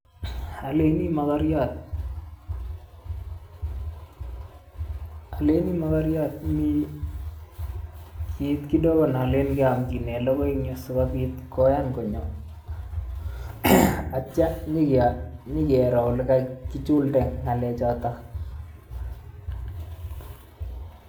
Oleini mokoriot oleini mokoriot mi kit kidogo neolen keomchinen logoi en yu sikobit koyan konyo ak kitio inyo inyokiro ilekakichulde ng'alechoton.